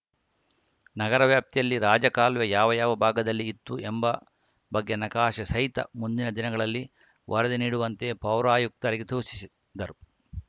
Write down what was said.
ನಗರ ವ್ಯಾಪ್ತಿಯಲ್ಲಿ ರಾಜಕಾಲುವೆ ಯಾವ ಯಾವ ಭಾವದಲ್ಲಿ ಇತ್ತು ಎಂಬ ಬಗ್ಗೆ ನಕಾಶೆ ಸಹಿತ ಮುಂದಿನ ದಿನಗಳಲ್ಲಿ ವರದಿ ನೀಡುವಂತೆ ಪೌರಾಯುಕ್ತರಿಗೆ ತೂಚಿಸಿದ್ದರು